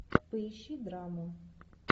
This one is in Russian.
поищи драму